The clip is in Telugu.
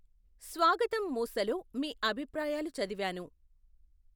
స్వాగతం మూసలో మీ అభిప్రాయాలు చదివాను.